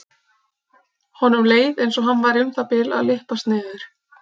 Honum leið einsog hann væri um það bil að lyppast niður.